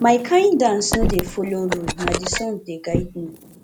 my kain dance no dey folo rule na di song dey guide me